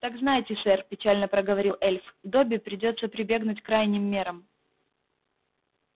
так знайте сэр печально проговорил эльф добби придётся прибегнуть к крайним мерам